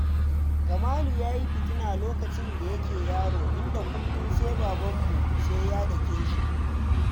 Kamalu ya yi fitina lokacin da yake yaro, inda kullum sai babanmu sai ya dake shi